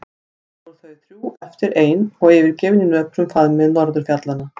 Þá voru þau þrjú eftir ein og yfirgefin í nöprum faðmi norðurfjallanna.